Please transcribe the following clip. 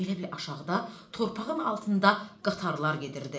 Elə bil aşağıda torpağın altında qatarlar gedirdi.